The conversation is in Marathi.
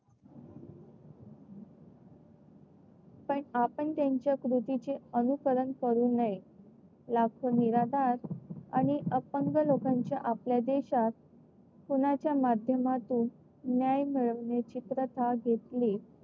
पण आपण त्यांच्या कृतीचे अनुकरण करू नये. लाखो निराधार आणि अपंग लोकांच्या आपल्या देशात कुणाच्या माध्यमातून न्याय मिळवण्याची प्रथा घेतली.